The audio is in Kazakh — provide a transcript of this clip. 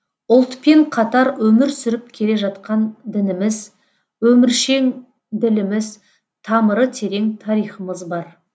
ұлтпен қатар өмір сүріп келе жатқан дініміз өміршең діліміз тамыры терең тарихымыз бар